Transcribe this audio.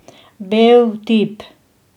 Bel tip.